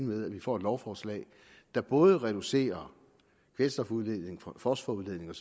med at vi får et lovforslag der både reducerer kvælstofudledningen og fosforudledningen